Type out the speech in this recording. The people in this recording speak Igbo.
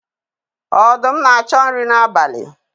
Ọdụm na-achọ nri n'abalị.